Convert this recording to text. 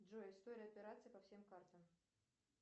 джой история операций по всем картам